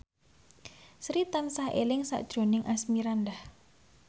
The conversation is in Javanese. Sri tansah eling sakjroning Asmirandah